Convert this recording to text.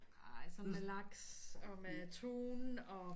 Ej sådan med laks og med tun og